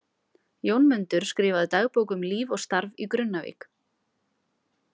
Jónmundur skrifaði dagbók um líf og starf í Grunnavík.